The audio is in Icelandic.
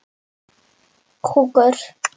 og Hvað er bólga?